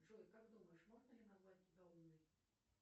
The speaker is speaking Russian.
джой как думаешь можно ли назвать тебя умной